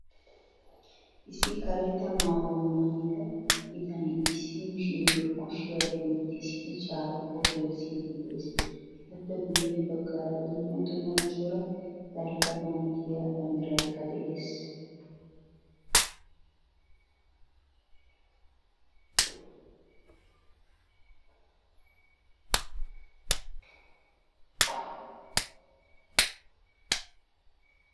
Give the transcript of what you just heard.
Issi karetta maayuwaa maayida bitane issi mishshiryo kushiya dentisidi caaquwaa gelisidi de'ees. Etappe guye baggara dumma dumma cora dalgga manttiyaa banddiraykka de'ees.